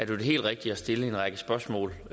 det helt rigtige at stille en række spørgsmål